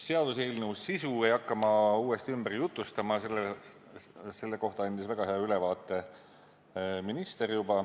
Seaduseelnõu sisu ei hakka ma uuesti ümber jutustama, selle kohta andis väga hea ülevaate minister.